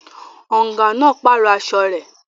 Ọ̀ǹgà náà pàrọ̀ aṣọ rẹ̀